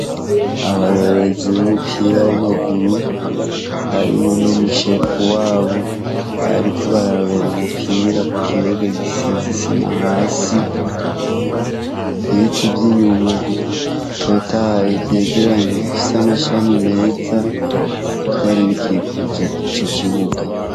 Abarorerezi b’umupira w’amaguru, harimwo n’umushefu wabo, bariko bararorera umupira kukibuga gisize isima hasi, ibiti vy’inyuma bitotahaye vyegeranye bifis’amashami meza vyari bikikuje ico kibuga.